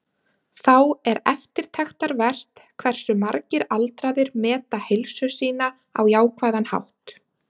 Þá er eftirtektarvert hversu margir aldraðir meta heilsu sína á jákvæðan hátt.